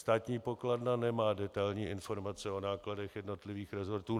Státní pokladna nemá detailní informace o nákladech jednotlivých resortů.